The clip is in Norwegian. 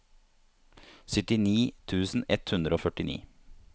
syttini tusen ett hundre og førtini